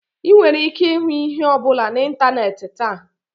Ị nwere ike ịhụ ihe ọ bụla na ịntanetị taa.